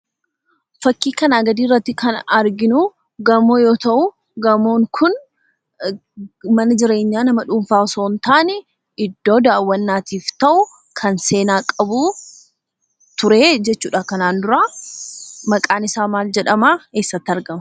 Fakkii kanaa gadiirratti kan arginuu gamoo yoo ta'uu; gamoon kun mana jireenyaa nama dhuunfaa osoon taane iddoo daawwannaatiif ta'u, kan seenaa qabuu ture jechuudha kanaan dura. Maqaan isaa maal jedhamaa? eessatti argama?